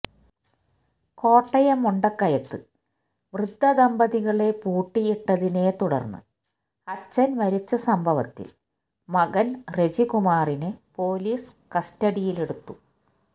കോട്ടയം മുണ്ടക്കയത്ത് വൃദ്ധദമ്പതികളെ പൂട്ടിയിട്ടതിനെ തുടര്ന്ന് അച്ഛന് മരിച്ച സംഭവത്തില് മകന് റെജികുമാറിനെ പൊലീസ് കസ്റ്റഡിയിലെടുത്തു